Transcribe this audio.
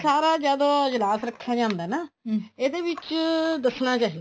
ਸਾਰਾ ਜਦੋਂ ਅਜਲਾਸ ਰੱਖਿਆ ਜਾਂਦਾ ਹੈ ਨਾ ਇਹਦੇ ਵਿੱਚ ਦੱਸਣਾ ਚਾਹੀਦਾ ਹੈ